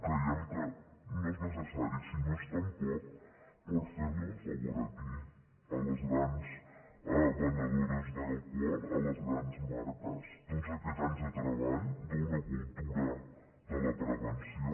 creiem que no és necessari si no és tampoc per fer li un favor a qui a les grans venedores d’alcohol a les grans marques tots aquests anys de treball d’una cultura de la prevenció